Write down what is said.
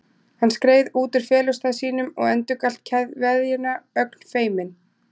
Hann skreið út úr felustað sínum og endurgalt kveðjuna, ögn feiminn.